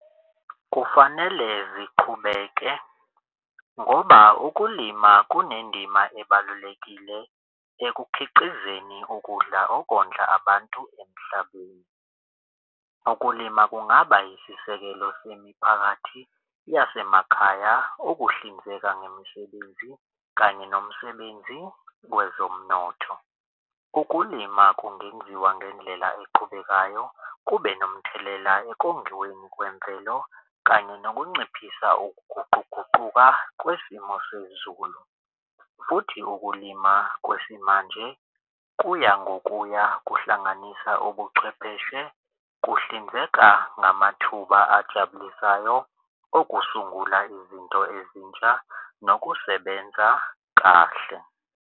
Kufanele ziqhubeke ngoba ukulima kunendima ebalulekile ekukhiqizeni ukudla okondla abantu emhlabeni. Ukulima kungaba isisekelo semiphakathi yasemakhaya okuhlinzeka ngemisebenzi kanye nomsebenzi wezomnotho. Ukulima kungenziwa ngendlela eqhubekayo kube nomthelela ekongiweni kwemvelo kanye nokunciphisa ukuguquguquka kwesimo sezulu. Futhi ukulima kwesimanje kuya ngokuya kuhlanganisa ubuchwepheshe kuhlinzeka ngamathuba ajabulisayo okusungula izinto ezintsha nokusebenza kahle.